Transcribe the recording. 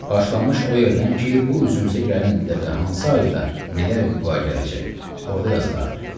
Başlamış o yerdən ki, bu üzümüzə gələn ildə və hansı ayda nələr vüqua gələcək, orda yazılardı.